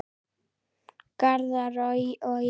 Garðar og ég